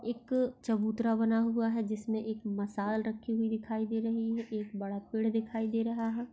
एक चबूतरा बना हुआ है जिस मे एक मशाल रखी हुई दिखाई दे रही है एक बड़ा पेड़ दिखाई दे रहा है।